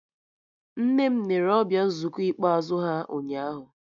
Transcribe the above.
Nne m nere ọbịa nzukọ ikpeazụ ha ụnyaahụ